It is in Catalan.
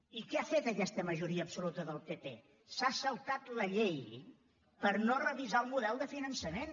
i què ha fet aquesta majoria absoluta del pp s’ha saltat la llei per no revisar el model de finançament